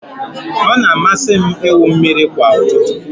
Ọ na-amasị m ịwụ mmiri kwa ụtụtụ